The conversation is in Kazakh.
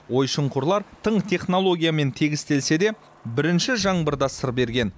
ой шұңқырлар тың технологиямен тегістелсе де бірінші жаңбырда сыр берген